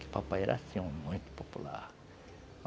Que o papai era, assim, um homem muito popular.